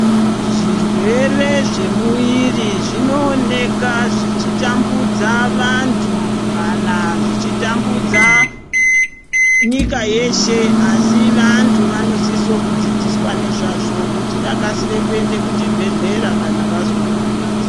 Zvirwere zvemuviri zvinooneka zvichitambudza vantu kana zvichitambudza nyika yeshe, asi vantu vanosisa kudzidziswa nezvazvo kuti vakasire kuende kuzvibhadhlera kana vazwa kurwadza.